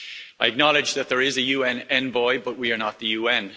I acknowledge that there is a UN envoy, but we are not the UN.